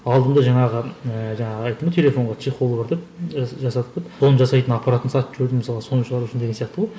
алдым да жаңағы ііі жаңағы айттым ғой телефонға чехол бар деп жасадық деп соны жасайтын аппаратын сатып жібердім мысалға соны шығару үшін деген сияқты ғой